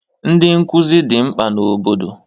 Ndị nkụzi dị mkpa n'obodo